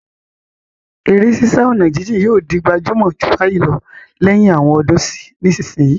Eré sísá ọ̀nà jíjìn yóò di gbajúmọ̀ jù báyìí lọ lẹ́yìn àwọn ọdún sí ìsinsìnyí.